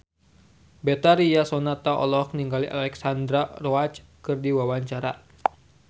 Betharia Sonata olohok ningali Alexandra Roach keur diwawancara